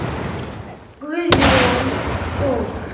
Guðjón Þór.